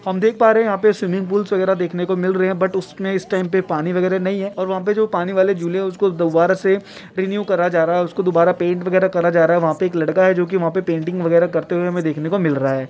हम देख पा रहे हैं यहां पे स्विमिंग पूलस वगैरा देखने को मिल रहे है बट उसमे इस टाइम पे पानी वगैरा नहीं है और वहाँ पे जो पानी वाले झूले है उसको दोबारा से रिन्यू करा जा रहा है उसको दोबारा पैंट वगैरा करा जा रहा है वहाँ पर एक लड़का है जो कि वहाँ पर पेंटिंग करते हुए देखने को मिल रहा है।